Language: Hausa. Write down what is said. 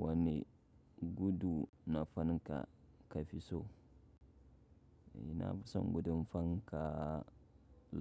Wani gudu na fanka ka fi so. Ina fi son gudun fanka